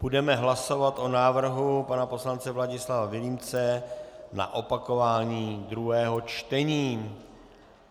Budeme hlasovat o návrhu pana poslance Vladislava Vilímce na opakování druhého čtení.